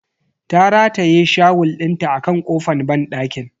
Ta rataye shawul dinta a kan kofan banɗakin.